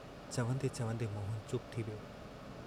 चवंदे-चवंदे मोहन चुप थी वियो।